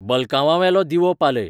बलकांवावेलो दिवो पालय